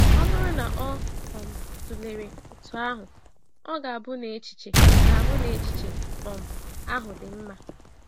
Ọ bụrụ na o um tụlere otú ahụ, ọ̀ ga-abụ na echiche ga-abụ na echiche um ahụ dị mma?